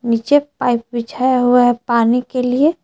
नीचे पाइप बिछाया हुआ है पानी के लिए।